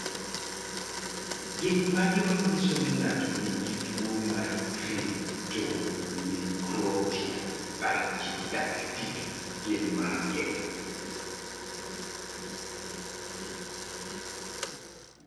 Gik manyiso ni ng'ato nigi tuwo mar Cryptomicrotia brachydactyly gin mage?